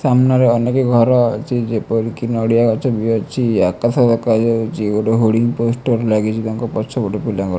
ସାମ୍ନାରେ ଅନେକ ଘର ଅଛି ଯେପରିକି ନଡ଼ିଆ ଗଛ ବି ଅଛି ଆକାଶ ଦେଖା ଯାଉଛି ଗୋଟେ ହୋଡିଂ ପୋଷ୍ଟର ଲାଗିଛି ତାଙ୍କ ପଛ ପଟେ ପିଣ୍ଡା ଘର --